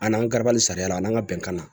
An n'an gabali sariya la n'an ka bɛnkan na